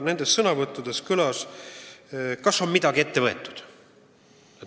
Nendes sõnavõttudes kõlas küsimus, kas on midagi ette võetud.